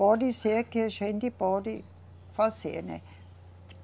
Pode ser que a gente pode fazer, né.